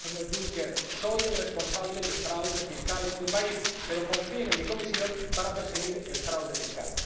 Ha dicho el señor Juncker Soy el responsable del fraude fiscal en mi país, pero confíen en mi Comisión para perseguir el fraude fiscal.